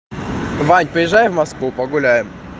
ваня приезжай в москву погуляем